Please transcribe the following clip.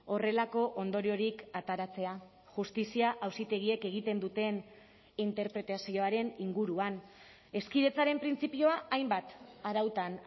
horrelako ondoriorik ateratzea justizia auzitegiek egiten duten interpretazioaren inguruan hezkidetzaren printzipioa hainbat arautan